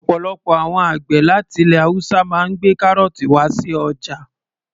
Ọ̀pọ̀lọpọ̀ àwọn àgbẹ̀ láti ilẹ̀ haúsá máa ń gbé kárọ̀ọ̀tì wá sí ọjà